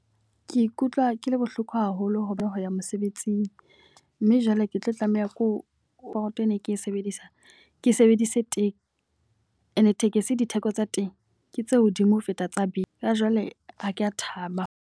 Ke ikutlwa ke le bohloko haholo hobane ho ya mosebetsing. Mme jwale ke tlo tlameha ke ene ke e sebedisa, ke sebedise taxi. E ne tekesi ditheko tsa teng ke tse hodimo ho feta tsa be. Ka jwale ha ke a thaba.